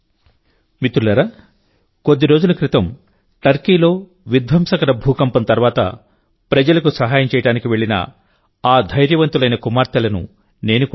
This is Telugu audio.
మిత్రులారాకొద్దిరోజుల క్రితంటర్కీలో విధ్వంసకర భూకంపం తర్వాత ప్రజలకు సహాయం చేయడానికి వెళ్లిన ఆ ధైర్యవంతులైన కుమార్తెలను నేను కూడా కలిశాను